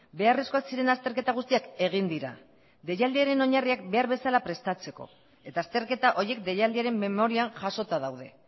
beharrezkoak ziren azterketa guztiak egin dira deialdiaren oinarriak behar bezala prestatzeko eta azterketa horiek deialdiaren memorian jasota daude